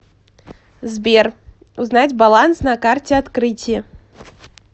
сбер узнать баланс на карте открытие